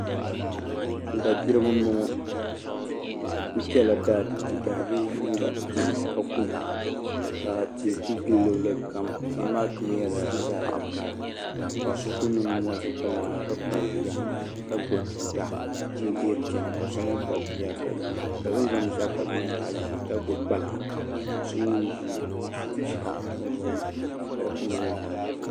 Da diribi n bɔŋɔ bi ku kpɛla daa tu di daa viɛnyɛlinga ka kuna ka tihi ku bɛ luɣuli kam tihi maa kama nyɛla zaɣ vakaɣa ka paɣa so ku niŋ nimmohi ʒi kpalaŋa ka kpabi bia ka gbubi tuuta n dihiri chɛna ka so mii kpabi bia ka o ni zaŋ binshaɣu kpabi bia maa nyɛ zaɣ ʒiɛ ka so mii ʒi binshaɣu o zuɣu ni ka di kama nyɛ zaɣ vakaɣali